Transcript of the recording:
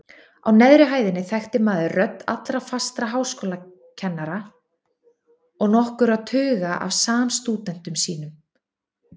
Á neðri hæðinni þekkti maður rödd allra fastra háskólakennara og nokkurra tuga af samstúdentum sínum.